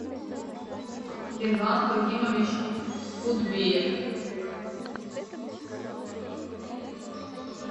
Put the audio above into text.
ерлан фагимович кутбеев